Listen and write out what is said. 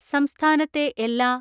സംസ്ഥാനത്തെ എല്ലാ